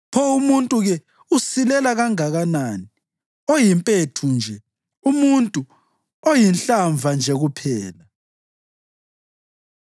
pho umuntu-ke usilela kanganani, oyimpethu nje, umuntu, oyinhlava nje kuphela!”